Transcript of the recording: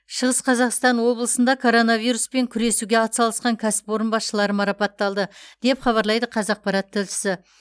шығыс қазақстан облысында коронавируспен күресуге атсалысқан кәсіпорын басшылары марапатталды деп хабарлайды қазақпарат тілшісі